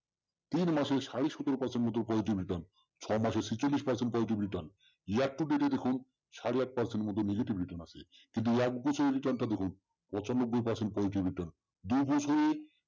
তিন মাসে সাড়ে সতেরো percent মতো positive return ছমাসে ছেচল্লিশ percent positive return দেখুন সাড়ে আট percent মতো negative return আছে। কিন্তু এক বছরের return টা দেখুন পচানব্বই percent positive return দু বছরে